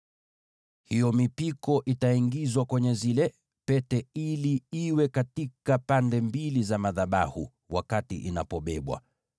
Hiyo mipiko itaingizwa kwenye zile pete ili iwe pande mbili za madhabahu inapobebwa.